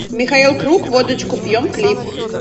михаил круг водочку пьем клип